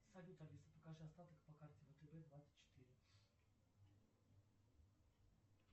салют алиса покажи остаток по карте втб двадцать четыре